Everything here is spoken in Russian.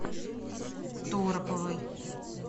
тороповой